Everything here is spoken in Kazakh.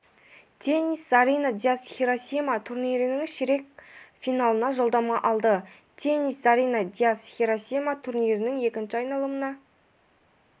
теннис зарина дияс хиросима турнирінің ширек финалына жолдама алды теннис зарина дияс хиросима турнирінің екінші айналымына